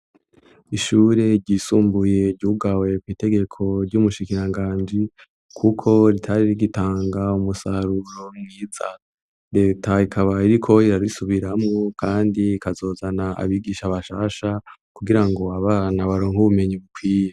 Ishure ryisumbuye ryugawe kw'itegeko ry'umushikianganji, kuko ritari rigitanga umusaruro mwiza, leta ikaba iriko irabisubiramwo kandi ikazozana abigisha bashasha, kugira ngo abana baronke ubumenyi bukwiye.